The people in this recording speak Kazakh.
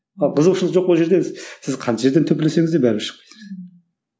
ал қызығушылық жоқ сіз қанша жерден төпелесеңіз де бәрібір шықпайсыз